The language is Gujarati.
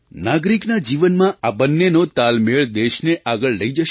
નાગરિકના જીવનમાં આ બંનેનો તાલમેળ દેશને આગળ લઈ જશે